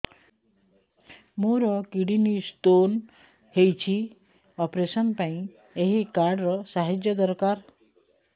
ମୋର kidney stone ହଇଛି operation ପାଇଁ ଏହି କାର୍ଡ ର ସାହାଯ୍ୟ ଦରକାର